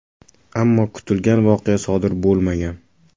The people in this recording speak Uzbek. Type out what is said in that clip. Ammo kutilgan voqea sodir bo‘lmagan.